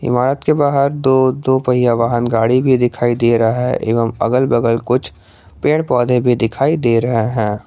इमारत के बाहर दो दो पहिया वाहन गाड़ी भी दिखाई दे रहा है एवं अगल बगल कुछ पेड़ पौधे भी दिखाई दे रहे हैं।